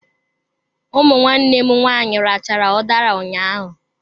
Ụmụ nwanne m nwaanyị rachaa udara ụnyaahụ.